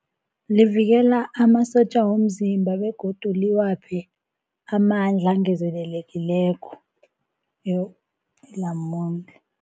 Livikela amasotja womzimba begodu liwaphe amandla angezelelekileko ilamune.